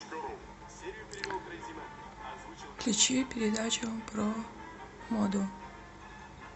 включи передачу про моду